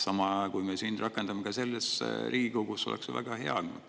Kui me sama rakendame Riigikogus, oleks ju väga hea.